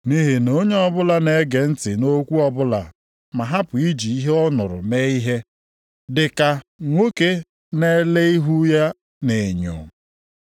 Nʼihi na onye ọbụla na-ege ntị nʼokwu ọbụla ma hapụ iji ihe ọ nụrụ mee ihe, dị ka nwoke na-ele ihu ya nʼenyo.